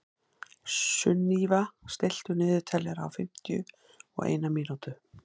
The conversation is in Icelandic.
Sunníva, stilltu niðurteljara á fimmtíu og eina mínútur.